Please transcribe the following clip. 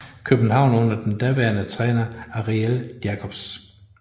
København under den daværende træner Ariël Jacobs